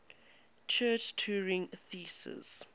church turing thesis